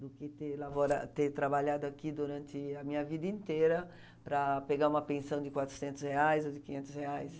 do que ter ter trabalhado aqui durante a minha vida inteira para pegar uma pensão de quatrocentos reais ou de quinhentos reais.